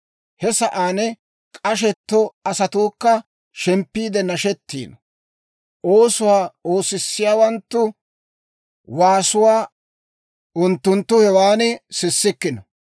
He sa'aan k'ashetto asatuukka shemppiide nashettiino; oosuwaa oosissiyaawanttu waasuwaa unttunttu hewan sissikkino.